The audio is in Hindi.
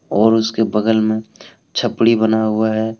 और उसके बगल में छपड़ी बना हुआ है।